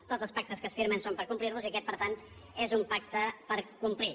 tots els pactes que es firmen són per complir·los i aquest per tant és un pacte per complir